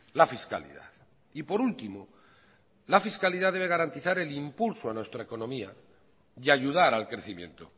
la fiscalidad y por último la fiscalidad debe garantizar el impulso a nuestra economía y ayudar al crecimiento